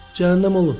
Cəhənnəm olun.